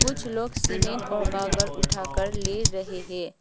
कुछ लोग सीमेंट और गागर उठाकर ले रहे हैं।